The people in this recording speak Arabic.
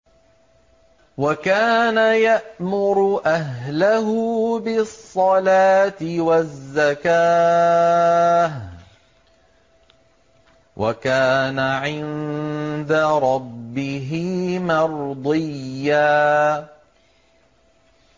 وَكَانَ يَأْمُرُ أَهْلَهُ بِالصَّلَاةِ وَالزَّكَاةِ وَكَانَ عِندَ رَبِّهِ مَرْضِيًّا